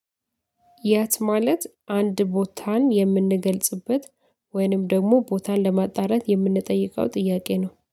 የት ማለት አንድ ቦታን የምንገልጽበት ወይንም ደግሞ ቦታን ለማጣራት የምንጠይቀው ጥያቄ ነው